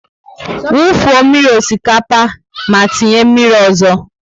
Wu fuo mmírí osikapa ma tinye mmírí ọzọ!